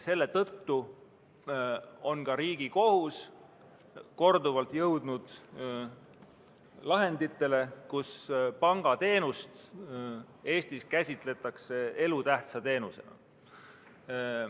Selle tõttu on ka Riigikohus korduvalt jõudnud lahenditeni, mille järgi pangateenust käsitletakse Eestis elutähtsa teenusena.